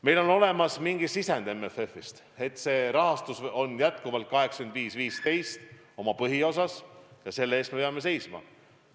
Meil on olemas mingi sisend MFF-ist, et see rahastus on jätkuvalt suhtega 85 : 15 oma põhiosas, ja selle eest me peame seisma.